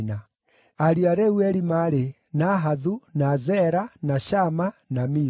Ariũ a Reueli maarĩ: Nahathu, na Zera, na Shama, na Miza.